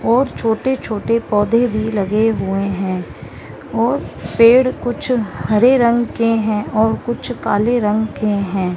और छोटे-छोटे पौधे भी लगे हुएं हैं और पेड़ कुछ हरे रंग कें हैं और कुछ काले रंग कें हैं।